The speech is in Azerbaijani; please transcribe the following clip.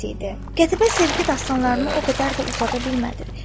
Qətibə sevgi dastanlarını o qədər də uzada bilmədi.